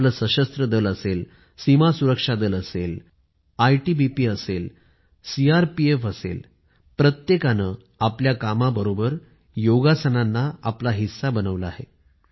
आपले सशस्त्र दल असेल सीमा सुरक्षा दल असेल आयटीबीपी असेल सीआरपीएफ असेल प्रत्येकाने आपल्या कामाबरोबर योगासनांना आपला हिस्सा बनवलं आहे